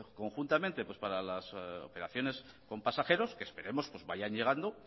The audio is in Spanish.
conjuntamente para las operaciones con pasajeros que esperemos pues vayan llegando